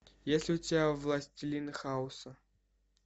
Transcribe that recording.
есть ли у тебя властелин хаоса